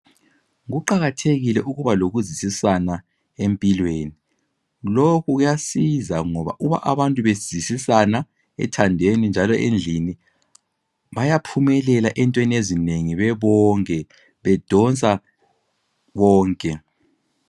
Kuqakathekile ukuba lokuzwisisana empilweni ,lokhu kuyasiza .Ngoba uba abantu bezwisisana ethandweni njalo endlini bayaphumelela entweni ezinengi bebonke .Bedonsa bebonke.